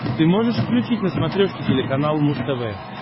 ты можешь включить на смотрешке телеканал муз тв